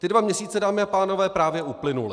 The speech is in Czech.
Ty dva měsíce, dámy a pánové, právě uplynuly.